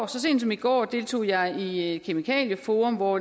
så sent som i går deltog jeg i i kemikalieforum hvor